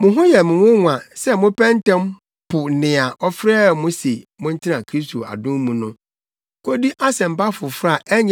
Mo ho yɛ me nwonwa sɛ mopɛ ntɛm po nea ɔfrɛɛ mo se montena Kristo adom mu no, kodi asɛmpa foforo